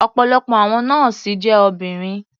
Ọ̀pọ̀lọpọ̀ àwọn nọ́ọ̀sì jẹ́ obìnrin.